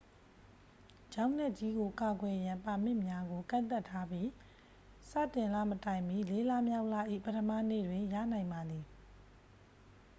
ချောက်နက်ကြီးကို ကာကွယ်ရန် ပါမစ်များကို ကန့်သတ်ထားပြီး စတင်လမတိုင်မီ လေးလမြောက်လ၏ ပထမနေ့တွင် ရနိုင်ပါသည်